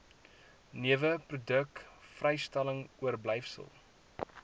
neweproduk vrystelling oorblyfsel